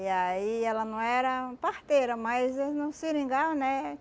E aí ela não era parteira, mas era um seringal, né?